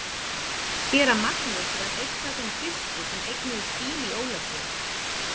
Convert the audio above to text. Séra Magnús var einn af þeim fyrstu sem eignuðust bíl í Ólafsvík.